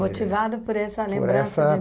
Motivado por essa lembrança? Por essa